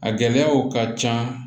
A gɛlɛyaw ka ca